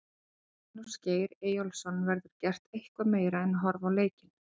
Magnús Geir Eyjólfsson: Verður gert eitthvað meira en horfa á leikinn?